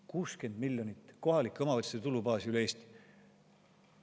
60 miljonit kohalike omavalitsuste tulubaasi üle Eesti!